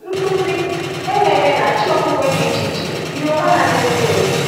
Nkụzi, ememe, na chi okpukpe dị iche iche yiri onwe ha n’ezie.